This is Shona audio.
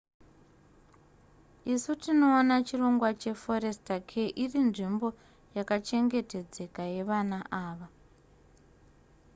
isu tinoona chirongwa che forester care irinzvimbo yakachengetedzeka yevana ava